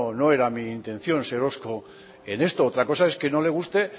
no era mi intención ser hosco en esto otra cosa es que no le guste